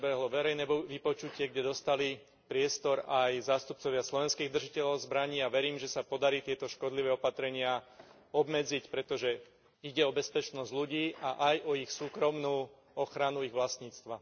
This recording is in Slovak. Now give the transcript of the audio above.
Prebehlo verejné vypočutie, kde dostali priestor aj zástupcovia slovenských držiteľov zbraní, a verím, že sa podarí tieto škodlivé opatrenia obmedziť, pretože ide o bezpečnosť ľudí a aj o ich súkromnú ochranu ich vlastníctva.